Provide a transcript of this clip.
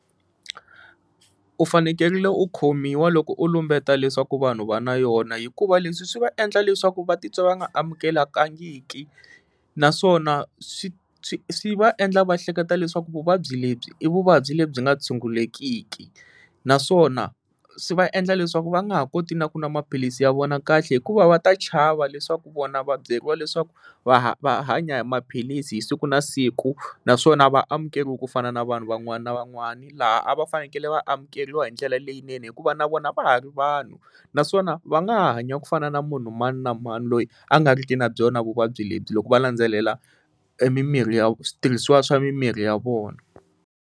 U fanekerile u khomiwa loko u lumbeta leswaku vanhu va na yona hikuva leswi swi va endla leswaku va titwa va nga amukelekangiki naswona swi swi swi va endla va hleketa leswaku vuvabyi lebyi i vuvabyi lebyi nga tshungulekiki naswona swi va endla leswaku va nga ha koti na ku nwa maphilisi ya vona kahle hikuva va ta chava leswaku vona va byeriwa leswaku va va hanya hi maphilisi hi siku na siku naswona va amukeriwi ku fana na vanhu van'wana na van'wana laha a va fanekele va amukeriwa hi ndlela leyinene hikuva na vona va ha ri vanhu naswona va nga ha hanya ku fana na munhu mani na mani loyi a nga riki na byona vuvabyi lebyi loko va landzelela mimirhi ya switirhisiwa swa mimirhi ya vona.